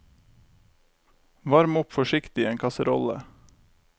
Varm opp forsiktig i en kasserolle.